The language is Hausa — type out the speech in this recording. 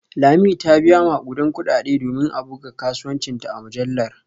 Lami ta biya makudan kudade domin a buga kasuwancinta a mujallar